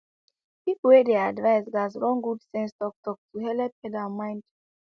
people wey dey advice gats run good sense talktalk to helep head and mind